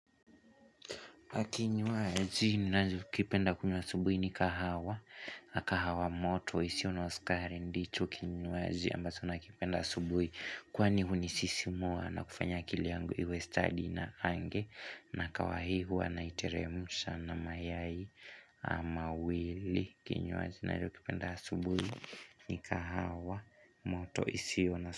Kinywaji, ninachokipenda kunywa asubuhi ni kahawa, kahawa moto, isiyo na sukari ndicho kinywaji ambacho nakipenda asubuhi Kwani hunisisimua na kufanya akili yangu iwe stadi na ange na kahawa hii hua naiteremsha na mayai ama mbili Kinywaji, ninachokipenda asubuhi ni kahawa moto, isiyo na sukari ndich kinywaji.